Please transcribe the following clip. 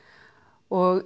og